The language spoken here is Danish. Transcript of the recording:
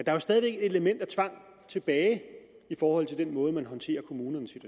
er jo stadig et element af tvang tilbage i forhold til den måde man håndterer kommunernes